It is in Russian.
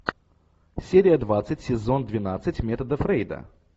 серия двадцать сезон двенадцать метода фрейда